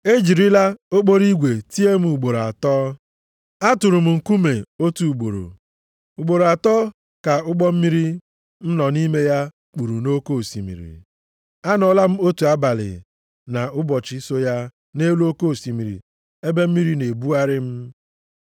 E jirila okporo igwe tie m ugboro atọ. Atụrụ m nkume otu ugboro. Ugboro atọ ka ụgbọ mmiri m nọ nʼime ya kpuru nʼoke osimiri. Anọọla m otu abalị na ụbọchị so ya nʼelu oke osimiri ebe mmiri na-ebugharị m.